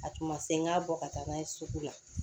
A tun ma se n ka bɔ ka taa n'a ye sugu la